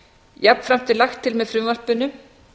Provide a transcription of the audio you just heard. jafnframt er lagt til með frumvarpinu